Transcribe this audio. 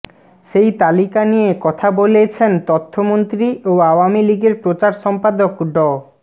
সেই তালিকা নিয়ে কথা বলেছেন তথ্যমন্ত্রী ও আওয়ামী লীগের প্রচার সম্পাদক ড